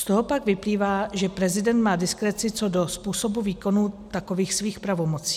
Z toho pak vyplývá, že prezident má diskreci co do způsobu výkonů takových svých pravomocí.